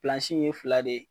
in ye fila de